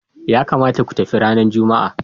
Ya kamata ku tafi ranar Juma'a.